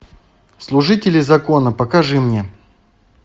служители закона покажи мне